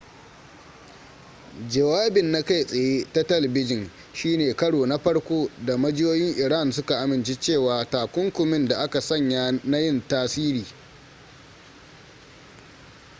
jawabin na kai tsaye ta talbijin shine karo na farko da majiyoyin iran suka amince cewa takunkumin da aka sanya na yin tasiri